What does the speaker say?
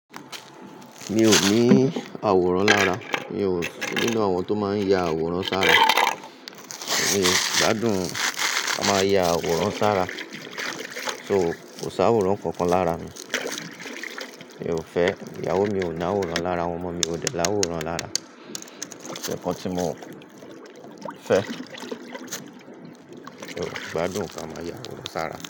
Mi ò ní àwòrán lára, mi ò nínú àwọn tó máa ń ya àwòrán sára. Èmi gbádùn mo máa ya àwòrán sára. So kò sá àwòrán kankan lára mi. Mi ò fẹ́, ìyàwó mi ò ní àwòrán lára, àwọn ọmọ mi ò dẹ làwòrán lára. Nkan tí mo fẹ́, mi ò gbádùn ká máa ya àwòrán sára.